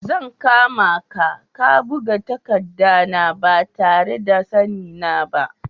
Zan kama ka dan ka buga takadda na ba tare na da sanni na ba.